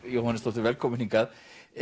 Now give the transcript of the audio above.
Jóhannesdóttir velkomin hingað